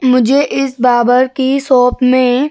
मुझे इस बार्बर की शॉप में --